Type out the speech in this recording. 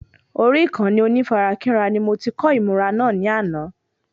Orí Ìkànnì onífarakínra ni mo ti kọ́ ìmùra náà ní àná